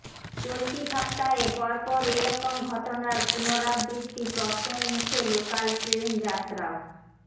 চলতি সপ্তাহে পরপর এরকম ঘটনার পুনরাবৃত্তি প্রশ্নের মুখে লোকাল ট্রেন যাত্রাও